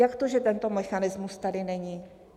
Jak to, že tento mechanismus tady není?